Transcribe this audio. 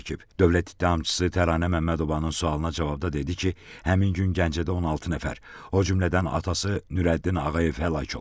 Dövlət ittihamçısı Təranə Məmmədovanın sualına cavabda dedi ki, həmin gün Gəncədə 16 nəfər, o cümlədən atası Nurəddin Ağayev həlak olub.